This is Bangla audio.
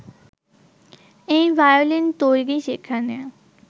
এই ভায়োলিন তৈরি, সেখানে